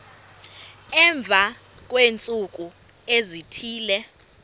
emva kweentsuku ezithile